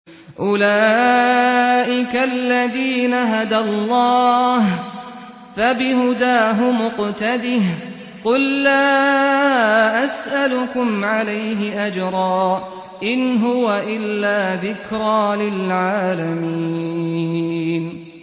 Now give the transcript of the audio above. أُولَٰئِكَ الَّذِينَ هَدَى اللَّهُ ۖ فَبِهُدَاهُمُ اقْتَدِهْ ۗ قُل لَّا أَسْأَلُكُمْ عَلَيْهِ أَجْرًا ۖ إِنْ هُوَ إِلَّا ذِكْرَىٰ لِلْعَالَمِينَ